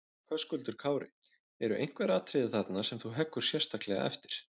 Höskuldur Kári: Eru einhver atriði þarna sem þú heggur sérstaklega eftir?